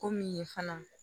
Ko min ye fana